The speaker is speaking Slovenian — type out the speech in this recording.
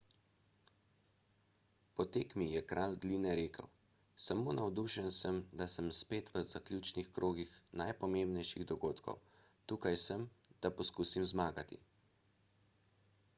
po tekmi je kralj gline rekel samo navdušen sem da sem spet v zaključnih krogih najpomembnejših dogodkov tukaj sem da poskusim zmagati